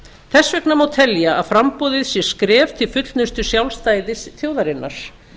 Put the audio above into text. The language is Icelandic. þess vegna má telja að framboðið sé skref til fullnustu sjálfstæðis þjóðarinnar